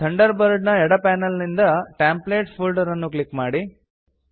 thunder bird ನ ಎಡ panel ನಿಂದ ಟೆಂಪ್ಲೇಟ್ಸ್ ಫೋಲ್ಡರ್ ಅನ್ನು ಕ್ಲಿಕ್ ಮಾಡಿ